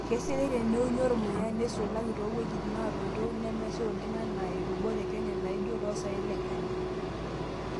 Keisidai teneuni ormuya neisulaki too wuejitin naatoito nemesha oleng enaa ilubot e kenya naaijio oloosaen Le kenya.